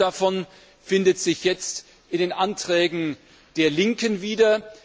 Manches davon findet sich jetzt in den Anträgen der Linken wieder.